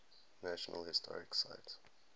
national historic site